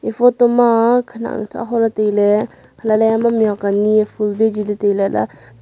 photo ma khanak nu aho ley tailay halla ley heyma mih huak ani eh phul bejiley tailay.